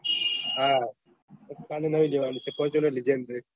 કાલે નયી લેવાની છે ફોર્તુંનર લીધી એમ ભાઈ